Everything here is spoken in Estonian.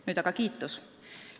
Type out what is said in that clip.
Nüüd aga kiitus.